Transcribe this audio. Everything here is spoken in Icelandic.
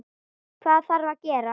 Hvað þarf að gera?